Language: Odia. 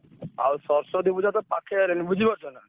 ଆଉ ସରସ୍ବତୀ ପୂଜା ତ ପାଖେଇ ଆଇଲାଣି ବୁଝିପାରୁଛ ନା?